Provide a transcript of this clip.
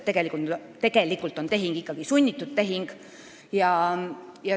Tegelikult on see tehing ikkagi sunnitud tehing.